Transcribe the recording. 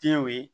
Denw ye